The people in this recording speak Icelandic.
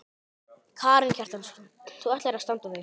Karen Kjartansdóttir: Þú ætlar að standa þig?